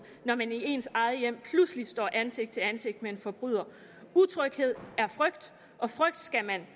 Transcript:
når man i ens eget hjem pludselig står ansigt til ansigt med en forbryder utryghed er frygt og frygt skal man